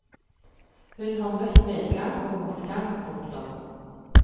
Hun har møtt medgang og motgang. punktum